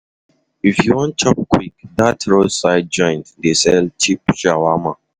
If you wan chop kwik, dat roadside joint dey sell cheap shawarma.